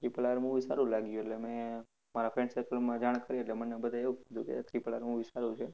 Triple R movie સારું લાગ્યું એટલે મેં મારા friend circle માં જાણ કરી એટલે મને બધાએ એવું કીધું triple R movie સારું છે.